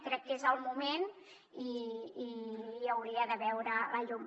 crec que és el moment i hauria de veure la llum